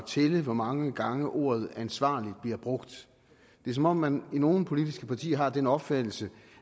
tælle hvor mange gange ordet ansvarlig bliver brugt det er som om man i nogle politiske partier har den opfattelse